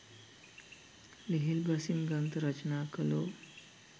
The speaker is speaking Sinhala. ලිහිල් බසින් ග්‍රන්ථ රචනා කළෝ